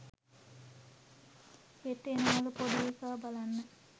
හෙට එනවලු පොඩි එකා බලන්න.